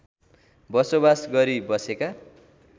बसोबास गरी बसेका